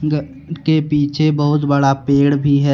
घर के पीछे बहुत बड़ा पेड़ भी है।